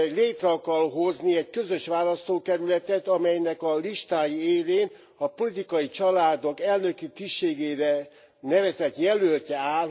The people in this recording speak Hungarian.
Létre akar hozni egy közös választókerületet, amelynek a listái élén a politikai családok elnöki tisztségére nevezett jelölt áll.